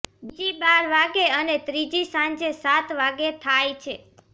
બીજી બાર વાગે અને ત્રીજી સાંજે સાત વાગે થાઈ છે